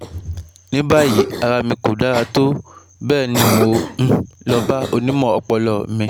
Ní báyìí, ara mi kò dára tó bẹ́ẹ̀ ni mo um lọ bá onímọ̀ ọpọlọ mi